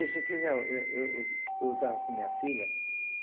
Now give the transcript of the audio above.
Eu eu eu eu estava com a minha filha.